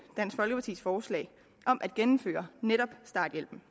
dansk folkepartis forslag om at genindføre netop starthjælpen